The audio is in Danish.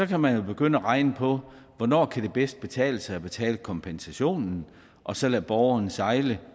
kan man begynde at regne på hvornår det bedst kan betale sig at betale kompensationen og så lade borgerne sejle